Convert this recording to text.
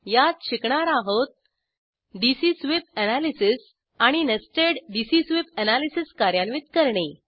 यात शिकणार आहोत डीसी स्वीप एनालिसिस आणि नेस्टेड डीसी स्वीप एनालिसिस कार्यान्वित करणे